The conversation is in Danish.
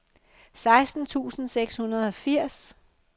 seksten tusind seks hundrede og firs